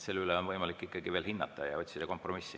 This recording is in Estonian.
Seda on võimalik veel hinnata ja otsida kompromissi.